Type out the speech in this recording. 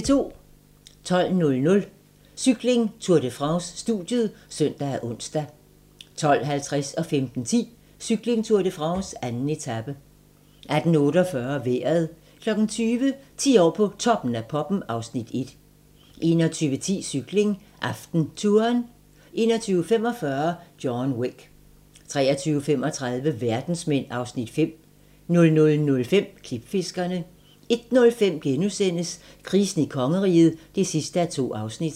12:00: Cykling: Tour de France - studiet (søn og ons) 12:50: Cykling: Tour de France - 2. etape 15:10: Cykling: Tour de France - 2. etape 18:48: Vejret 20:00: 10 år på Toppen af poppen (Afs. 1) 21:10: Cykling: AftenTouren 21:45: John Wick 23:35: Verdensmænd (Afs. 5) 00:05: Klipfiskerne 01:05: Krisen i kongeriget (2:2)*